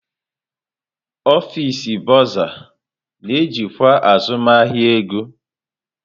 Ọfịs Bọrzà na-ejikwa azụmahịa ego.